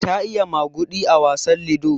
Ta yi maguɗi a wasan lido.